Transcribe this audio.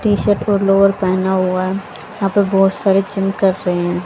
T shirt और lower पहना हुआ यहाँ पे बहोत सारे जिम कर रहे है।